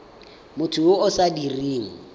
motho yo o sa dirang